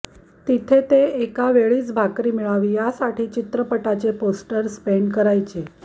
तिथे ते एका वेळची भाकरी मिळावी यासाठी चित्रपटाचे पोस्टर्स पेंट करायचे